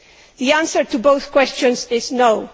The answer to both questions is no'.